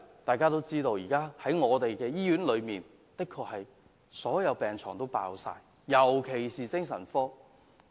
大家都知道，現時所有醫院的病床爆滿，特別是精神科的病床。